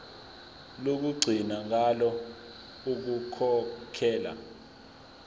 lokugcina ngalo ukukhokhela